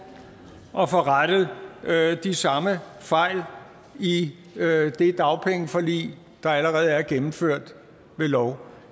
at de samme fejl i det dagpengeforlig der allerede er gennemført ved lov